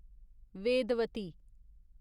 Vedvati